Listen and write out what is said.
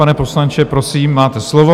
Pane poslanče, prosím, máte slovo.